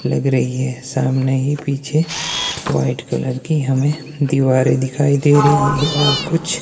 लग रही हैं सामने ही पीछे वाइट कलर की हमे दीवारे दिखाई दे रही हैं और कुछ--